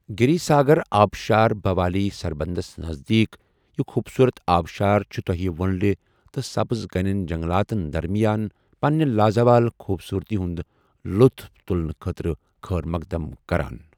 گِریٖ ساگر آبٕشار بھوالی سربندس نزدیٖک یہِ خوٗبصوٗرت آبٕشار چُھ تۄہہِ وٕنٛلہِ تہٕ سَبٕز گَنیٚن جنٛگلاتن درمِیان پنٕنہِ لازَوال خوٗبصوٗرتی ہُنٛد لُطُف تُلنہٕ خٲطرٕ خٲر مو٘قدم کَران